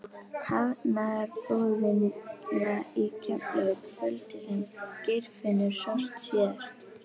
Hafnarbúðina í Keflavík kvöldið sem Geirfinnur sást síðast.